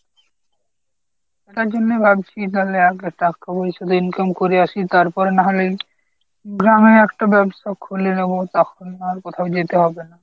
তার জন্যই ভাবছি তাহলে আগে টাকা পয়সা income করে আসি তারপর না হয় গ্রামে একটা ব্যবসা খুলে নেব তখন না হয় কোথাও যেতে হবে না।